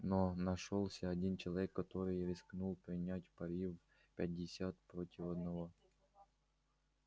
но нашёлся один человек который рискнул принять пари в пятьдесят против одного